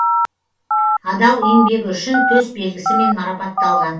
адал еңбегі үшін төс белгісімен марапатталған